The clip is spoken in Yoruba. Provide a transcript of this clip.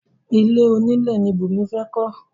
Ilé onílẹ̀ ni Bùnmi fẹ́ kọ́